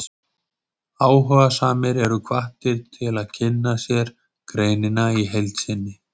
Áhugasamir eru hvattir til að kynna sér greinina í heild sinni.